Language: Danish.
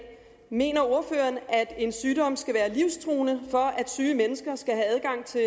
mener ordføreren at en sygdom skal være livstruende for at syge mennesker skal have adgang til